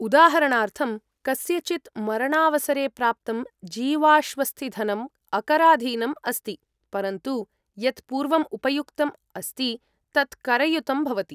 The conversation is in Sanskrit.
उदाहरणार्थम्, कस्यचित् मरणावसरे प्राप्तं जीवाश्वस्तिधनम् अकराधीनम् अस्ति, परन्तु यत् पूर्वम् उपयुक्तम् अस्ति तत् करयुतम् भवति।